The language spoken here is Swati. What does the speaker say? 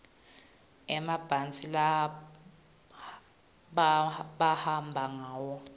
emabhasi labahamba ngawo